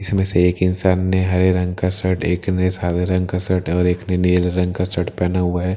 इसमे से एक इन्सान ने हरे रंग का शर्ट एक ने सादे रंग का शर्ट और एक ने नीले रंग का शर्ट पेहना हुआ है।